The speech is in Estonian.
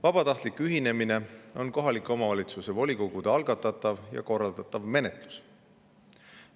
Vabatahtliku ühinemise menetluse algatavad ja seda ühinemist korraldavad kohalike omavalitsuste volikogud.